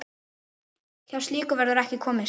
Hjá slíku verður ekki komist.